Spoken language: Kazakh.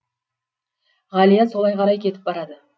ғалия солай қарай кетіп барады